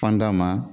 Fan da ma